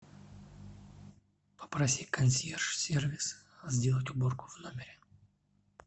попроси консьерж сервис сделать уборку в номере